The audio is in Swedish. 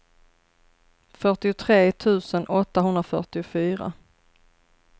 fyrtiotre tusen åttahundrafyrtiofyra